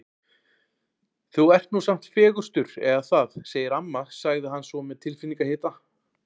Þú ert nú samt fegurstur eða það segir amma sagði hann svo með tilfinningahita.